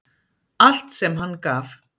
Allt sem hann gaf.